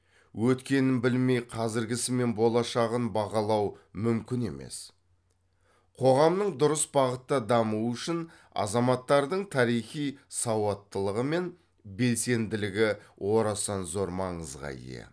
өткенін білмей қазіргісі мен болашағын бағалау мүмкін емес қоғамның дұрыс бағытта дамуы үшін азаматтардың тарихи сауаттылығы мен белсенділігі орасан зор маңызға ие